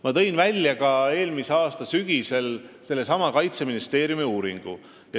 Ma tõin ka eelmise aasta sügisel välja sellesama Kaitseministeeriumi uuringu.